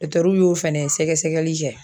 y'o fɛnɛ sɛgɛsɛgɛli kɛ.